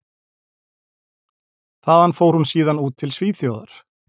Þaðan fór hún síðan út til Svíþjóðar.